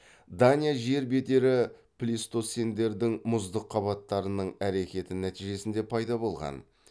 дания жер бедері плейстоцендердің мұздық қабаттарының әрекеті нәтижесінде пайда болған